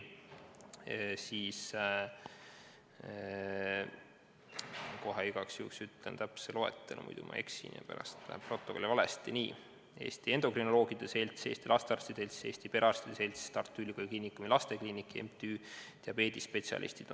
Igaks juhuks ütlen täpse loetelu, muidu ma eksin ja protokolli läheb valesti: Eesti Endokrinoloogia Selts, Eesti Lastearstide Selts, Eesti Perearstide Selts, Tartu Ülikooli Kliinikumi Lastekliinik, MTÜ Diabeedispetsialistid.